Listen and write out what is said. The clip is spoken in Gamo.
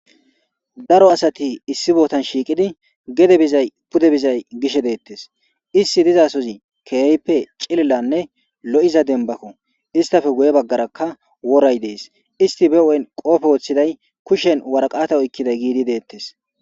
Daro asati issi botan shiqidi gede bizay pude bizay bishe detes isti diza sohozi kehipe c'ililane lo'iza dembako istape guye bagaraka woray des isti be hu'en qophe wotiday kushen woraqata oykiday gididi detes.